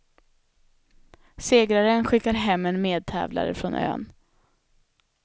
Segraren skickar hem en medtävlare från ön.